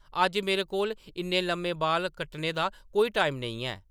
अज्ज, मेरे कोल इन्ने लम्मे बाल कट्टने दा कोई टाइम नेईं है ।